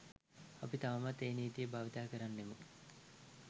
අපි තවමත් ඒ නීතිය භාවිතා කරන්නෙමු.